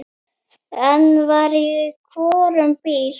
Einn var í hvorum bíl.